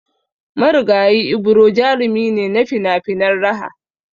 Marigayi Ibro jarumi ne na finafinan raha